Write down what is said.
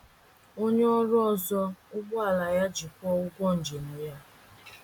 Onye ọrụ ọzọ ụgbọala ya iji kwụọ ụgwọ njem ya.